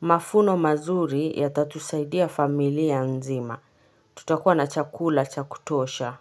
Mafuno mazuri yatatusaidia familia nzima, tutakuwa na chakula cha kutosha.